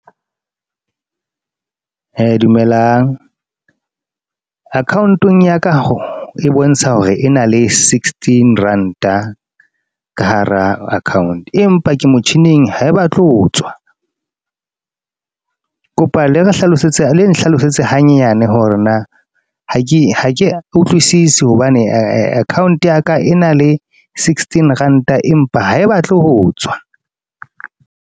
Dumelang. Account-ong ya ka e bontsha hore e na le sixteen rand-a, ka hara account. Empa ke motjhining ha e ba tle ho tswa. Kopa le re hlalosetse, leng nhlalosetse hanyane hore na ha ke ha ke utlwisise. Hobane account ya ka, e na le sixteen rand-a. Empa ha e batle ho tswa.